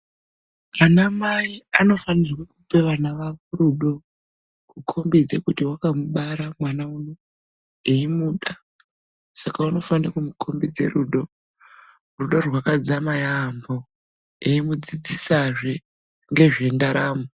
Anamai anofanirwe kupe vana vawo rudo kukhombidza kuti vakamubara mwana uno veimuda. Saka unofanire kumukhombidze rudo, rudo rwakadzama yaampho eimudzidzisazve ngezvendaramo.